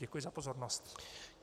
Děkuji za pozornost.